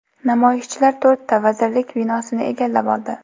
Namoyishchilar to‘rtta vazirlik binosini egallab oldi.